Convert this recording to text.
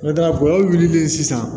N'o tɛ gɔbɔni wulilen sisan